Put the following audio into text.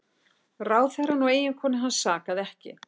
Ráðherrann og eiginkonu hans sakaði ekki